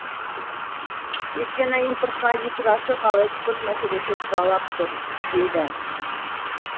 өйткені импортқа есік ашық ал экспорт мәселесі тұралап тұр дейді